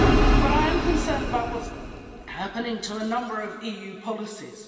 But I am concerned about what's happening to a number of EU policies.